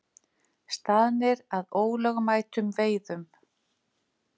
Staðnir að ólögmætum veiðum